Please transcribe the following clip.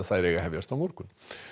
hefjast á morgun